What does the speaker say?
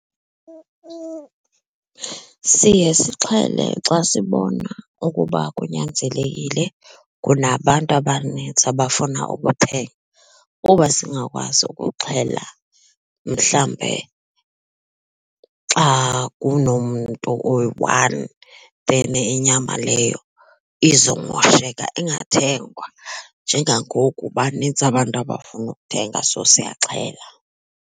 Siye sixhele xa sibona ukuba kunyanzelekile kunabantu abanintsi abafuna ukuthenga kuba singakwazi ukuxhela mhlawumbe xa kunomntu oyi-one then inyama leyo izomosheka ingathengwa. Njengangoku banintsi abantu abafuna ukuthenga so siyaxhela.